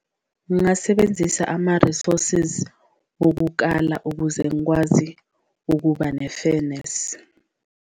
Ngasebenzisa ama-resources wokukala ukuze ngikwazi ukuba ne-fairness.